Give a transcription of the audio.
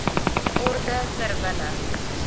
orde ter wille